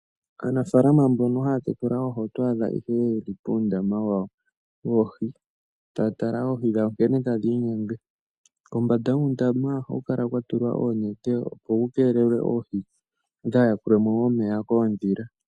Aanafalama mbono haya tekula oohi oto adha ihe yeli puundama wawo yatala oohi nkene tadhi iyumbu. Kombanda yuundama ohaku kala kwatulwa oonete, opo oohi kadhi yakulwemo momeya kuudhila.